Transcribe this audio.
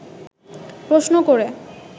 প্রশ্ন করে